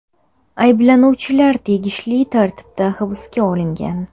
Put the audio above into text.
Ayblanuvchilar tegishli tartibda hibsga olingan.